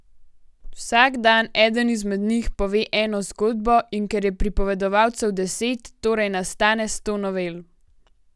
Vsak dan eden izmed njih pove eno zgodbo, in ker je pripovedovalcev deset, torej nastane sto novel.